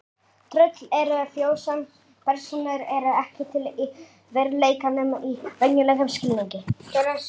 Tröll eru þjóðsagnapersónur eru ekki til í veruleikanum í venjulegum skilningi.